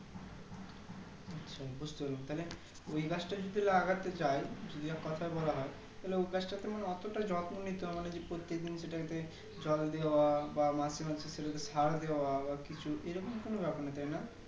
আচ্ছা বুজতে পারলাম তাহলে ওই গাছটা যদি লাগাতে চাই কথা বলা হয় তাহলে উ গাছটা তো আমার অতটা যত্ন হবে না যে প্রত্যেক দিন সেটাতে জল দেওয়া বা মাসে মাসে সেটাতে সার দেওয়া বা কিছু এই রকম কিছু ব্যাপারনা তাই না